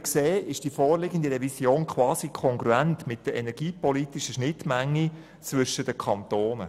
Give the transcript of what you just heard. Die vorliegende Revision ist quasi kongruent mit der energiepolitischen Schnittmenge zwischen den Kantonen.